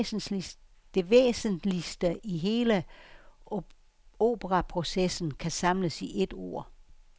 Det væsentligste i hele operaprocessen kan samles i et ord.